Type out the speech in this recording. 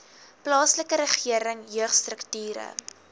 plaaslike regering jeugstrukture